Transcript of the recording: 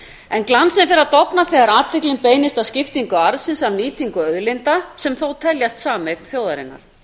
en glansinn fer að dofna þegar athyglin beinist að skiptingu arðsins af nýtingu auðlinda sem þó teljast sameign þjóðarinnar